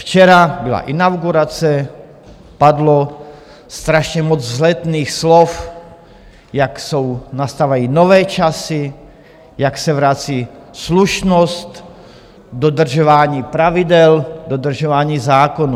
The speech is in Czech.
Včera byla inaugurace, padlo strašně moc vzletných slov, jak nastávají nové časy, jak se vrací slušnost, dodržování pravidel, dodržování zákonů.